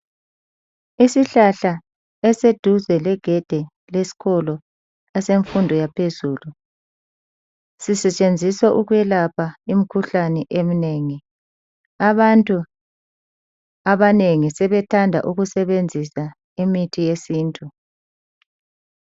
isihlahla esiseduzu legedi lesikolo esemfundo yaphezulu sisetshenziswa ukwelapha izfo ezinengi abantu abanengi sebethanda ukusebenzisa imithi yesintu